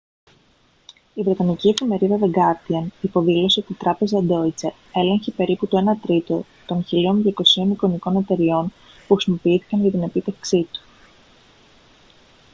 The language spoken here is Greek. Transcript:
η βρετανική εφημερίδα the guardian υποδήλωσε ότι η τράπεζα deutsche έλεγχε περίπου το ένα τρίτο των 1.200 εικονικών εταιρειών που χρησιμοποιήθηκαν για την επίτευξή του